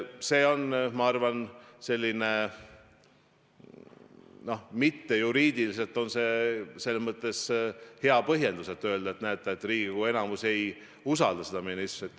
See on, ma arvan, mittejuriidiliselt selles mõttes hea põhjendus, miks öelda, et näete, Riigikogu enamus ei usalda seda ministrit.